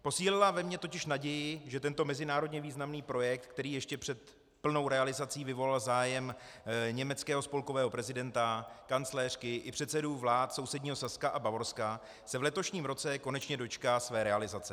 Posílila ve mně totiž naději, že tento mezinárodně významný projekt, který ještě před plnou realizací vyvolal zájem německého spolkového prezidenta, kancléřky i předsedů vlád sousedního Saska a Bavorska, se v letošním roce konečně dočká své realizace.